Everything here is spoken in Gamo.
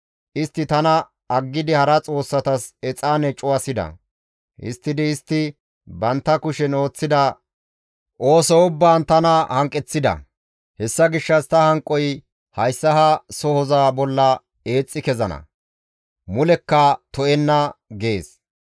Istti tana aggidi hara xoossatas exaane cuwasida; histtidi istti bantta kushen ooththida ooso ubbaan tana hanqeththida; hessa gishshas ta hanqoy hayssa ha sohoza bolla eexxi kezana; mulekka to7enna› gees.